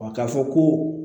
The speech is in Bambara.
k'a fɔ ko